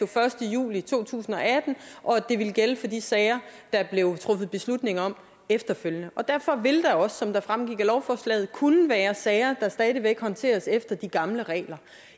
første juli to tusind og atten og at det ville gælde for de sager der blev truffet beslutning om efterfølgende derfor vil der også som det fremgik af lovforslaget kunne være sager der stadig væk håndteres efter de gamle regler